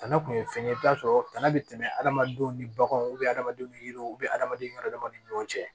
Tana kun ye fɛn ye i bɛ t'a sɔrɔ tana bɛ tɛmɛ hadamadenw ni baganw adamadenw ni yiriw adamaden ka hadamaden ni ɲɔgɔn cɛ